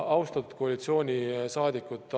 Austatud koalitsioonisaadikud!